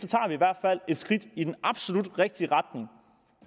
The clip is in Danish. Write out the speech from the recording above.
i hvert fald et skridt i den absolut rigtige retning